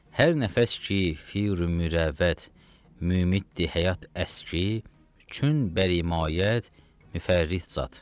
Hər nəfəs ki, fi ümürəvəd mümitdi həyat əski, çün bəri mayət müfərrih zat.